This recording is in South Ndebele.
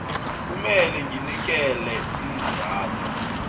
kumele nginikele iinzathu